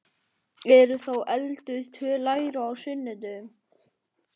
Eru þá elduð tvö læri á sunnudögum?